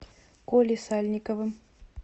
колей сальниковым